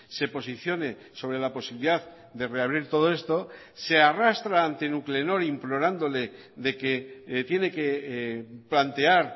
se posicione sobre la posibilidad de reabrir todo esto se arrastra ante nuclenor implorándole de que tiene que plantear